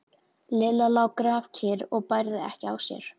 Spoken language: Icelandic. Lilla lá grafkyrr og bærði ekki á sér.